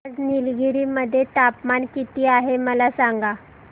आज निलगिरी मध्ये तापमान किती आहे मला सांगा